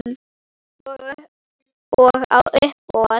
Og á uppboð.